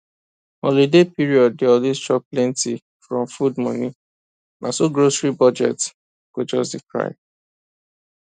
holiday period dey always chop plenty from food money na so grocery budget go just dey cry